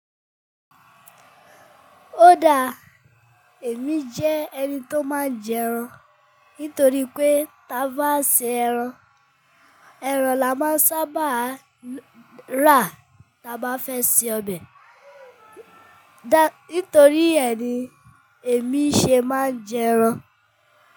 Óda, èmi jẹ́ ẹni tó máa ń jẹ ẹran nítorí pé táa bá se ẹran, ẹran la máa sábàa rà tá bá fẹ́ se ọbẹ̀. Dá, nítorí ẹni èmi ṣe máa ń jẹ ẹran.